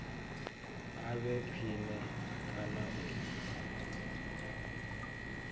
a vhe khwine kana u